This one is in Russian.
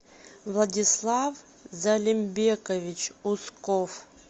владислав залимбекович усков